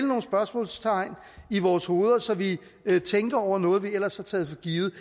nogle spørgsmålstegn i vores hoveder så vi tænker over noget vi ellers har taget for givet